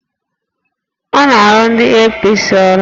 Ọ na-arụrụ ndị APC ọrụ?